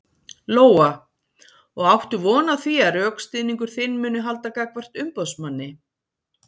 Lóa: Og áttu von á því að rökstuðningur þinn muni halda gagnvart umboðsmanni?